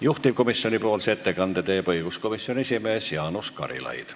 Juhtivkomisjoni ettekande teeb õiguskomisjoni esimees Jaanus Karilaid.